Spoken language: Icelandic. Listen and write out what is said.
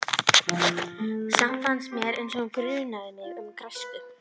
Samt fannst mér eins og hann grunaði mig um græsku.